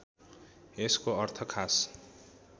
यसको अर्थ खास